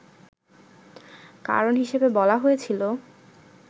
কারণ হিসেবে বলা হয়েছিল